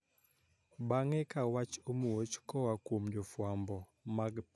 Bang`e ka wach omuoch koa kuom jofuambo mag pinyno gi ma oko